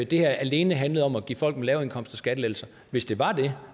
det her alene handlede om at give folk med lave indkomster skattelettelser hvis det var det